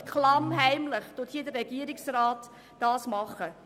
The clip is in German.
Und klammheimlich ändert der Regierungsrat die Verordnung.